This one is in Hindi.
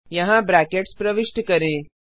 यहाँ ब्रैकेट्स प्रविष्ट करें